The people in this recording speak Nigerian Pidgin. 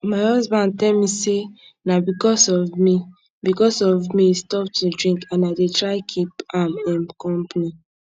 my husband tell me say na because of me because of me he stop to drink and i dey try keep am um company